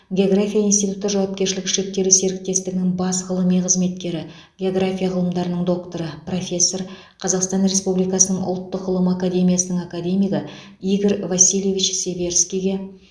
география институты жауапкершілігі шектеулі серіктестігінің бас ғылыми қызметкері география ғылымдарының докторы профессор қазақстан республикасының ұлттық ғылым академиясының академигі игорь васильевич северскийге